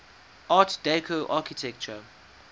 art deco architecture